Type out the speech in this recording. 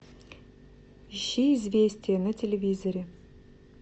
ищи известия на телевизоре